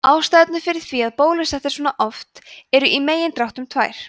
ástæðurnar fyrir því að bólusett er svona oft eru í megindráttum tvær